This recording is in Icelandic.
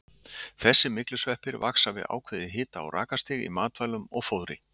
Þessir myglusveppir vaxa við ákveðið hita- og rakastig í matvælum og fóðri.